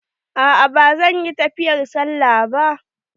A'a ba zan yi tafiyar sallah ba.